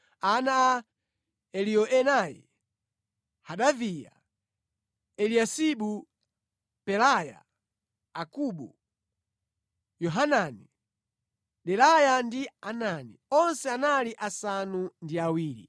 Ana a Eliyoenai: Hodaviya, Eliyasibu, Pelaya, Akubu, Yohanani, Delaya ndi Anani, onse anali asanu ndi awiri.